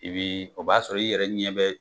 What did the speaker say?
I b'i, o b'a sɔrɔ i yɛrɛ ɲɛ bɛ